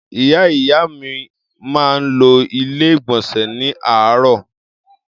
Ìyá ìyá mi máa ń lo Ilé-ìgbọ̀nsẹ̀ ní àràárọ̀.